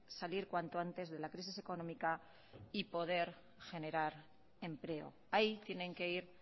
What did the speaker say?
salir cuanto antes de la crisis económica y poder generar empleo ahí tienen que ir